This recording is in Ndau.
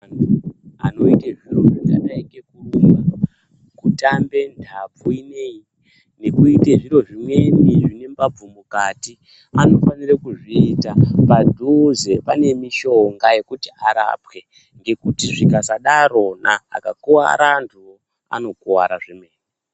Antu anoite zviro zvakadai ngekurumba kutamba ntabvu ineyi nekuite zviro zvimweni zvine mbabvu mukati anofanire kuzviita padhuze pane mishobga yekuti arapwe ngekuti zvikasadarona akakuwara antuwo anokuwara zvemene .